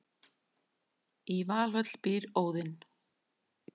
í valhöll býr óðinn